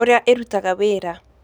Ũrĩa ĩrutaga wĩra: